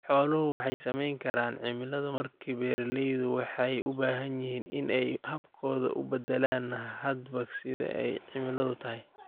Xoolaha waxa saamayn kara cimiladu, markaa beeralaydu waxa ay u baahan yihiin in ay habkooda u bedelaan hadba sida ay cimiladu tahay.